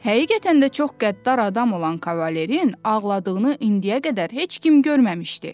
Həqiqətən də çox qəddar adam olan Kavalerin ağladığını indiyə qədər heç kim görməmişdi.